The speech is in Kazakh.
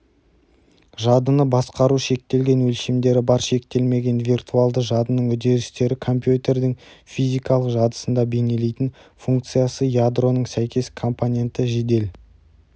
жадыны басқару шектелген өлшемдері бар шектелмеген виртуалды жадының үдерістері компьютердің физикалық жадысында бейнелейтін функциясыядроның сәйкес компоненті жедел